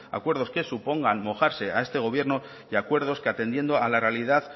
acuerdos que supongan mojarse a este gobierno y acuerdos que atendiendo a la realidad